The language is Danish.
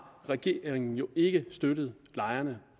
regeringen jo ikke støttet lejerne